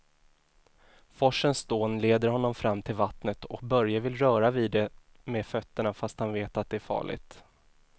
Forsens dån leder honom fram till vattnet och Börje vill röra vid det med fötterna, fast han vet att det är farligt.